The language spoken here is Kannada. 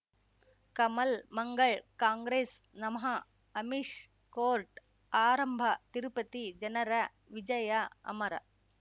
ಕಮಲ್ ಮಂಗಳ್ ಕಾಂಗ್ರೆಸ್ ನಮಃ ಅಮಿಷ್ ಕೋರ್ಟ್ ಆರಂಭ ತಿರುಪತಿ ಜನರ ವಿಜಯ ಅಮರ